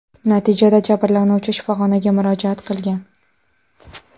Natijada jabrlanuvchi shifoxonaga murojaat qilgan.